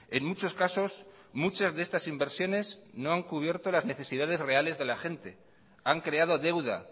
en muchos casos muchas de estas inversiones no han cubierto las necesidades reales de la gente han creado deuda